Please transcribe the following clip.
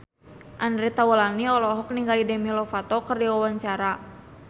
Andre Taulany olohok ningali Demi Lovato keur diwawancara